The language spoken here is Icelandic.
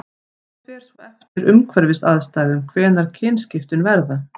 það fer svo eftir umhverfisaðstæðum hvenær kynskiptin verða